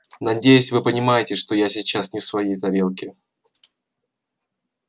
надеюсь вы понимаете что я сейчас не в своей тарелке